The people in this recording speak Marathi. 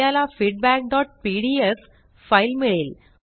आपल्याला feedbackपीडीएफ फाइल मिळेल